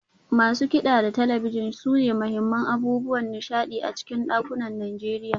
Masu kida da talabijin sune muhimman abubuwan nishadi a cikin dakunan Najeriya.